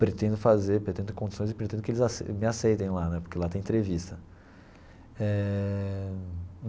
Pretendo fazer, pretendo ter condições e pretendo que eles aceitem me aceitem lá né, porque lá tem entrevista eh.